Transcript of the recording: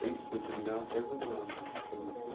Antes de eu terminar, pega uma pergunta sua.